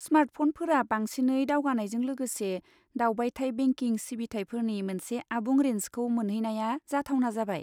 स्मार्टफ'नफोरा बांसिनै दावगानायजों लोगोसे, दावबायथाय बेंकिं सिबिथाइफोरनि मोनसे आबुं रेन्जखौ मोनहैनाया जाथावना जाबाय।